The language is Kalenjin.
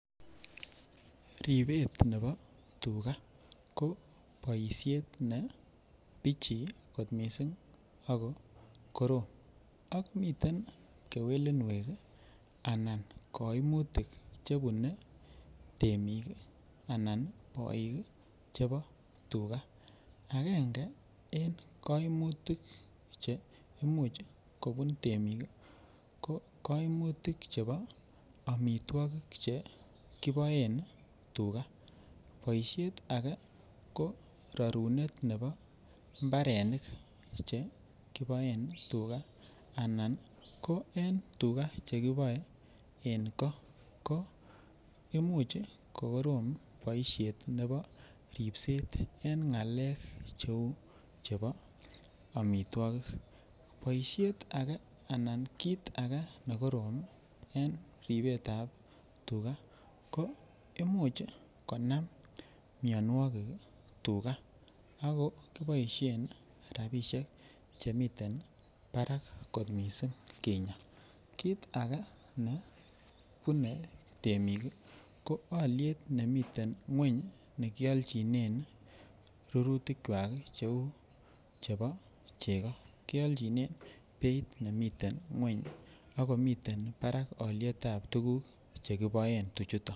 Ribet nebo tuga ko boisiet ne bichii kot mising ako korom ak miten kewelinwek anan koimutik Che bune temik anan boik chebo chebo tuga agenge en koimutik Che Imuch kobun temik ko koimutik chebo amitwogik chekiboen tuga koimutyet age ko ne bo rorunet ab mbarenik chekiboen tugaa anan ko tuga chekiboe en goo ko Imuch ko korom ab ripset en ngalek cheu chebo amitwogik boisiet age anan kit ake ne korom en ribet ab tuga ko Imuch Konam mianwogik tugaa ako kiboisien rabisiek Che miten barak kot mising kinyaa kit age ne bune temik ko alyet nemiten ngwony nekialchinen rurutikwak cheu chebo chego kialchinen beit nemiten ngwony ak komiten barak alyet ab tuguk chekiboen tuchuto